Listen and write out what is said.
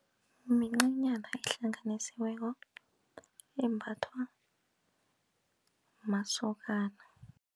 Mincanyana ehlanganisiweko embhathwa masokana.